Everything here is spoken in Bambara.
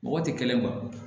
Mɔgɔ tɛ kelen wa